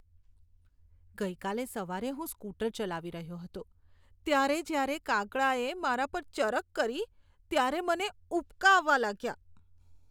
ગઈકાલે સવારે હું સ્કૂટર ચલાવી રહ્યો હતો ત્યારે જ્યારે કાગડાએ મારા પર ચરક કરી ત્યારે મને ઉબકા આવવા લાગ્યા.